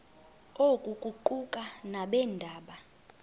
oku kuquka nabeendaba